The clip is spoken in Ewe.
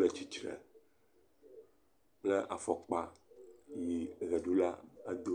le tsitre kple afɔkpa yi ʋeɖula ado.